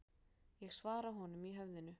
Ég svara honum í höfðinu.